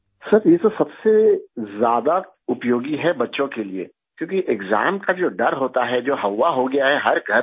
سر یہ تو سب سے زیادہ مفید ہے بچوں کے لیے، کیوں کہ، ایگزام کا جو ڈر ہوتا ہے، جو ہوّا ہوگیا ہے ہر گھر میں